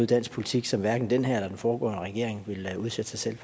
dansk politik som hverken den her eller den foregående regering ville udsætte sig selv